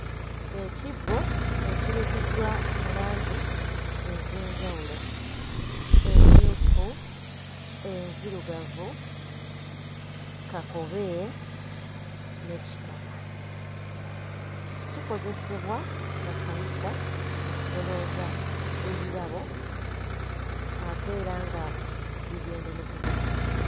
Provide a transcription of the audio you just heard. Ekibbo ekirukiddwa mu langi ez'enjawulo: emmyufu, enzirugavu, kakobe ne kitaka. Kikozesebwa mu kkanisa mu kusolooza ebirabo ate era nga bigenda ne ku buko.